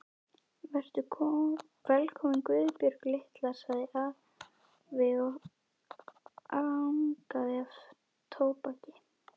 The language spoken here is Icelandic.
Vertu velkomin Guðbjörg litla, sagði afi og angaði af tóbaki.